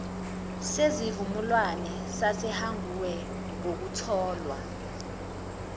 zesivumelwane sasehague ngokutholwa